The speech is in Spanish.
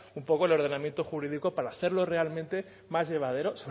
un poco el ordenamiento jurídico para hacerlo realmente más llevadero